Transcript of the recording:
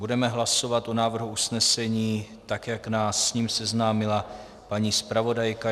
Budeme hlasovat o návrhu usnesení, tak jak nás s ním seznámila paní zpravodajka.